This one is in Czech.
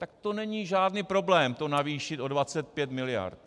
Tak to není žádný problém to navýšit o 25 miliard.